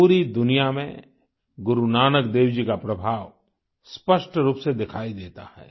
पूरी दुनिया में गुरु नानक देव जी का प्रभाव स्पष्ट रूप से दिखाई देता है